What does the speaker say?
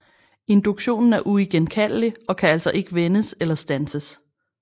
Induktionen er uigenkaldelig og kan altså ikke vendes eller standses